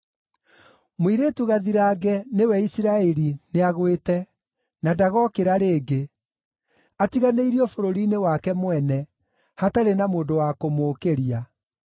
“Mũirĩtu gathirange, nĩwe Isiraeli, nĩagwĩte, na ndagookĩra rĩngĩ, atiganĩirio bũrũri-nĩ wake mwene, hatarĩ na mũndũ wa kũmũũkĩria.”